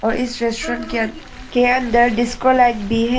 और इस रेस्टोरेंट के अन के अंद के अंदर डिस्को लाइट भी है।